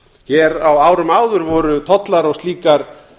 hér á árum áður voru tollar á slíkar